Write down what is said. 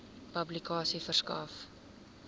publikasie verskaf